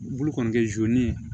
Bolo kɔni kɛ